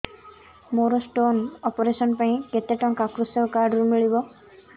ମୋର stone operation ପାଇଁ କେତେ ଟଙ୍କା କୃଷକ କାର୍ଡ ରୁ ମିଳିବ